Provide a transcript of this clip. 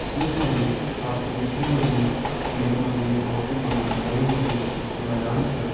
यख मा जी आप तैं दिखेणा लग्युं की यख मा जी एक बहोत ही बड़ु हरयुं भर्युं मैदान छ।